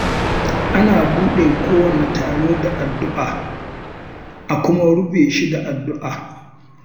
Ana buɗe kowane taro da addu'a, kuma a rufe shi da addu'a.